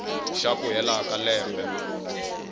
xa ku hela ka lembe